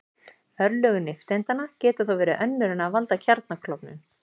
Örlög nifteindanna geta þó verið önnur en að valda kjarnaklofnun.